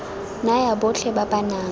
naya botlhe ba ba nang